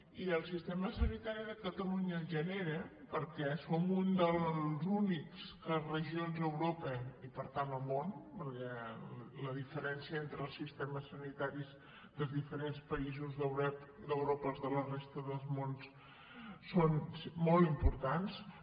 i el sistema sanitari de catalunya la genera perquè som una de les úniques regions a europa i per tant al món perquè les diferències entre els sistemes sanitaris dels diferents països d’europa i de la resta del món són molt importants